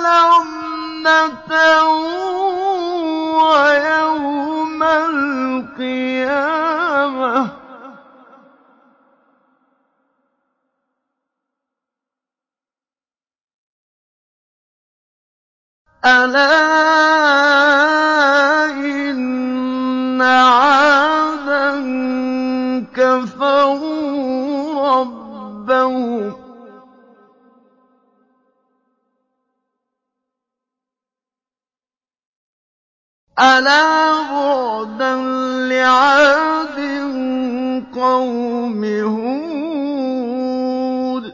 لَعْنَةً وَيَوْمَ الْقِيَامَةِ ۗ أَلَا إِنَّ عَادًا كَفَرُوا رَبَّهُمْ ۗ أَلَا بُعْدًا لِّعَادٍ قَوْمِ هُودٍ